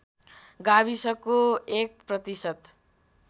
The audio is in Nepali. गाविसको १ प्रतिशत